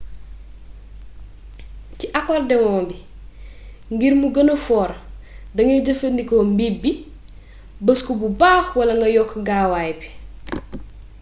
ci akordewon bi ngir mu gëna foor dangay jëfandikoo mbiip bi bës ko bu baaax wala nga yokk gaaawaay bi